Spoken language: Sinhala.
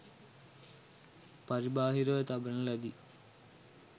පරිබාහිරව තබන ලදී.